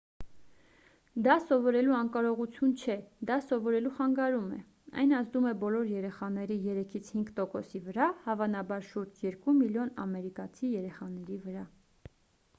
դա սովորելու անկարողություն չէ դա սովորելու խանգարում է այն ազդում է բոլոր երեխաների 3-ից 5 տոկոսի վրա հավանաբար շուրջ 2 միլիոն ամերիկացի երեխաների վրա